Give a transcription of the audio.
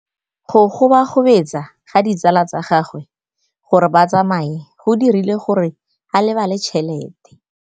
Go gobagobetsa ga ditsala tsa gagwe, gore ba tsamaye go dirile gore a lebale tšhelete.